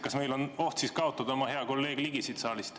Kas meil võiks olla oht kaotada siit saalist hea kolleeg Ligi?